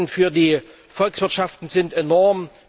Die Schäden für die Volkswirtschaften sind enorm.